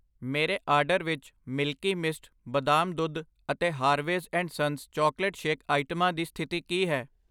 ਮੇਰੇ ਆਰਡਰ ਵਿੱਚ Milky Mist, ਬਦਾਮ ਦੁੱਧ ਅਤੇ Harveys and Sons chocolate shake ਆਈਟਮਾਂ ਦੀ ਸਥਿਤੀ ਕੀ ਹੈ?